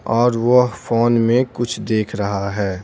और वह फोन में कुछ देख रहा है।